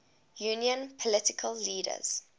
union political leaders